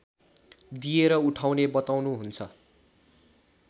दिएर उठाउने बताउनुहुन्छ